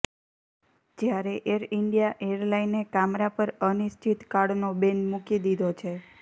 જ્યારે Air India એરલાઇને કામરા પર અનિશ્ચિત કાળનો બેન મૂકી દીધો છે